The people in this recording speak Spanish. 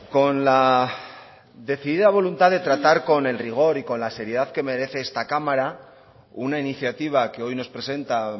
con la decidida voluntad de tratar con el rigor y con la seriedad que merece esta cámara una iniciativa que hoy nos presenta